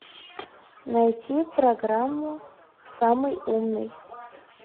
найти программу самый умный